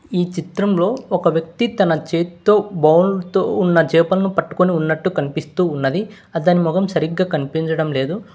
ఈ చిత్రంలో ఒక వ్యక్తి తన చేత్తో బౌల్ తో ఉన్న చేపలను పట్టుకుని ఉన్నట్టు కనిపిస్తూ ఉన్నది అతని మొహం సరిగ్గా కనిపించడం లేదు.